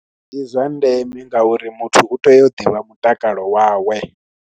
Ndi zwa ndeme ngauri muthu u tea u ḓivha mutakalo wawe.